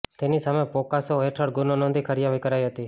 તેની સામે પોકસો હેઠળ ગુનો નોંધી કાર્યવાહી કરાઈ હતી